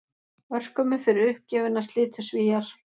Örskömmu fyrir uppgjöfina slitu Svíar